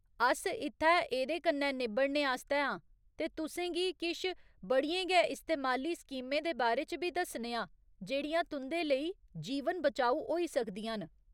अस इत्थै एह्दे कन्नै निब्बड़ने आस्तै आं ते तुसें गी किश बड़ियें गै इस्तेमाली स्कीमें दे बारे च बी दस्सने आं जेह्ड़ियां तुं'दे लेई जीवन बचाऊ होई सकदियां न।